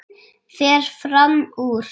Fer fram úr.